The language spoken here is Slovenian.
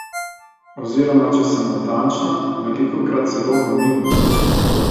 Oziroma če sem natančna, velikokrat celo v minus.